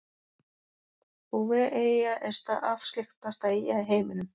Bouveteyja er afskekktasta eyja í heiminum.